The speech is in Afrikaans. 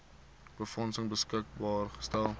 befondsing beskikbaar gestel